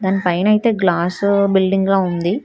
దానిపైనైతే glass బిల్డింగ్లా ఉంది.